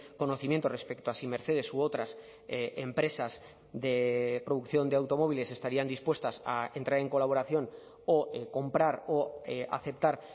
conocimiento respecto a si mercedes u otras empresas de producción de automóviles estarían dispuestas a entrar en colaboración o comprar o aceptar